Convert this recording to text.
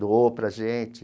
Doou para a gente.